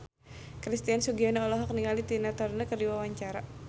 Christian Sugiono olohok ningali Tina Turner keur diwawancara